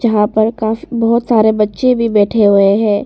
यहां पर काफ बहुत सारे बच्चे भी बैठे हुए हैं।